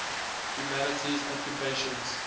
humanities occupations